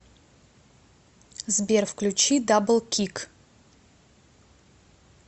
сбер включи даблкик